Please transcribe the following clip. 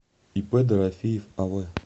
ип дорофеев ав